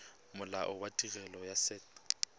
molao wa tirelo ya set